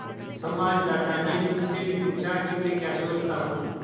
संवाददाता ने मुझसे भी पूछा कि मैं क्या सोचता हूँ